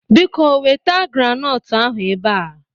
Biko weta granọtụ ahụ ebe a!